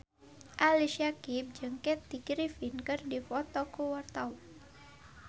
Ali Syakieb jeung Kathy Griffin keur dipoto ku wartawan